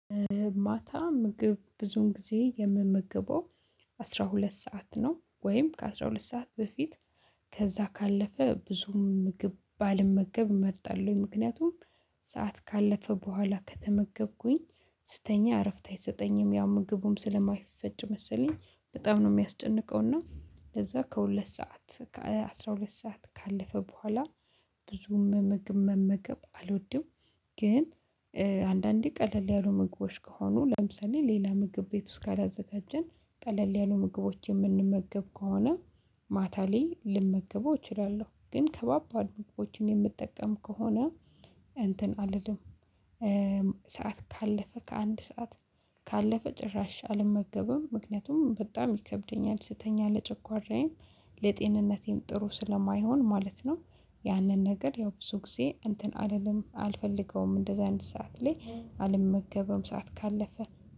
ማታ ምግብ ብዙውን ጊዜ የምመገበው አስራ ሁለት ሰዓት ነው ወይም ከአስራ ሁለት ሰዓት በፊት። ከዛ ካለፈ ብዙም ምግብ ባልመገብ መርጣለሁ ምክንያቱም ሰዓት ካለፈ በኋላ ከተመገብኩኝ። ስተኛ እረፍት አይሰጠኝም ያው ምግቡም ስለማይፈጭ መሰለኝ በጣም ነው የሚያስጨንቀው እና ለዛ ከሁለት ሰዓት ከአሥራ ሁለት ሰዓት ካለፈ በኋላ ብዙም ምግብ መመገብ አልወድም። ግን አንዳንዴ ቀለል ያሉ ምግቦች ከሆኑ ለምሳሌ ሌላ ምግብ ቤት ውስጥ ካላዘጋጀን ቀለል ያሉ ምግቦች የምንመገብ ከሆነ ማታ ላይ ልመገበው እችላለሁ ግን ከባባድ ምግቦችን የምጠቀም ከሆነ እንትን አልልም። ሰዓት ካለፈ ከአንድ ሰዓት ካለፈ ጭራሽ አልመገብም ምክንያቱም በጣም ይከብደኛል ስተኛ ለጨጉአራዬ ለጤንነቴም ጥሩ ስለማይሆን ማለት ነው። ያንን ነገር ያው ብዙ ጊዜ እንትን አልፈልገውም እንደዚህ አይነት ሰዓት ላይ አልመገብም ሰዓት ካለፈ።